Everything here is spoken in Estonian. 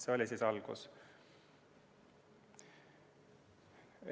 See oli algus.